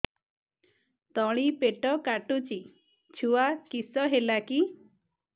ତଳିପେଟ କାଟୁଚି ଛୁଆ କିଶ ହେଲା କି